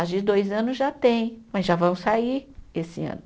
As de dois anos já tem, mas já vão sair esse ano.